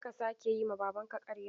Kar ka sake yi ma Babanka ƙarya!